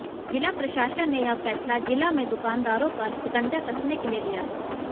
जिला प्रशासन ने यह फैसला जिला में दुकानदारों पर शिकंजा कसने के लिए लिया है